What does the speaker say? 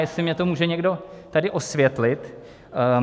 Jestli mně to může někdo tady osvětlit.